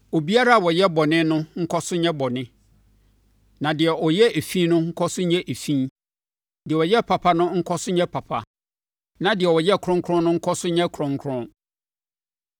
Obiara a ɔyɛ bɔne nkɔ so nyɛ bɔne, na deɛ ɔyɛ efi no nkɔ so nyɛ efi; deɛ ɔyɛ papa no nkɔ so nyɛ papa, na deɛ ɔyɛ kronkron no nkɔ so nyɛ kronkron.”